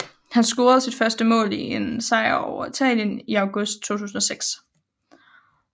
Han scorede sit første mål i en sejr over Italien i august 2006